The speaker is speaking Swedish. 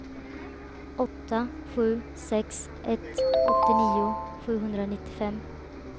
åtta sju sex ett åttionio sjuhundranittiofem